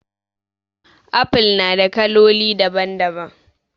Apple na da kaloli daban daban